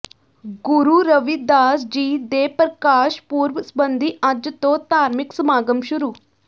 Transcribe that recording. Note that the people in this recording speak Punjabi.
ਗੁਰੂ ਰਵਿਦਾਸ ਜੀ ਦੇ ਪ੍ਰਕਾਸ਼ ਪੁਰਬ ਸਬੰਧੀ ਅੱਜ ਤੋਂ ਧਾਰਮਿਕ ਸਮਾਗਮ ਸ਼ੁਰੂ